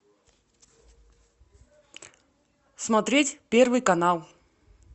смотреть первый канал